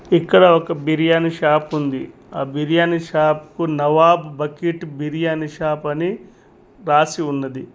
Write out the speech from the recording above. ఇక్కడ ఒక బిర్యానీ షాప్ ఉంది ఆ బిర్యాని షాప్ కు నవాబ్ బకెట్ బిర్యానీ షాప్ అని రాసి ఉన్నది.